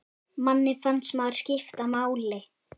Manni fannst maður skipta máli.